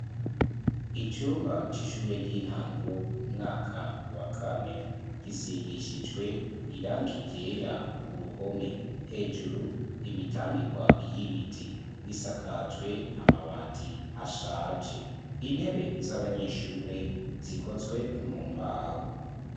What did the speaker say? Icumba c'ishure ry'intango umwaka wa kane gisigishijwe irangi ryera ku ruhome, hejuru imitambikwa y'ibiti risakajwe amabati ashaje intebe z'abanyeshure zikozwe mu mbaho.